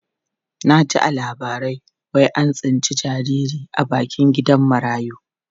Na ji a labarai wai an tsinci jariri a bakin gidan marayu.